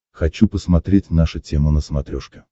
хочу посмотреть наша тема на смотрешке